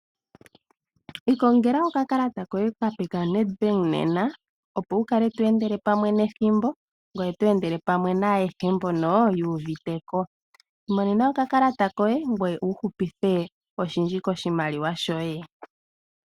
Ikongela okakalata koye okape kaNEDBANK nena, opo wu kale to endele pamwe nethimbo ngoye to endele pamwe naayehe mbono yu uvite ko. Imonena okakalata koye ngoye wu hupithe oshindji koshimaliwa shoye.